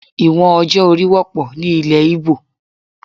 Ìwọ̀n ọjọ́ orí wọ́pọ̀ ni ilẹ̀ Igbo.